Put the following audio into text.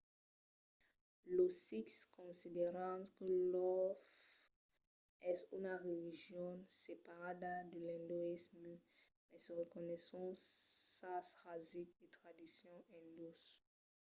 los sikhs consideran que lor fe es una religion separada de l'indoïsme e mai se reconeisson sas rasics e tradicions indós